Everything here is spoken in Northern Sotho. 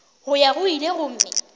go ya go ile gomme